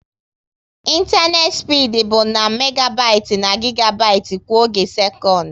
ịntanetị spid bụ na megabit na gigabit kwa oge sekọnd